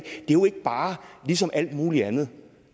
jo ikke bare ligesom alt muligt andet